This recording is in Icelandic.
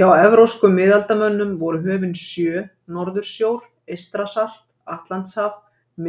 Hjá evrópskum miðaldamönnum voru höfin sjö Norðursjór, Eystrasalt, Atlantshaf,